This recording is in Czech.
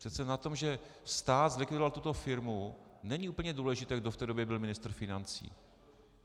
Přece na tom, že stát zlikvidoval tuto firmu, není úplně důležité, kdo v té době byl ministrem financí.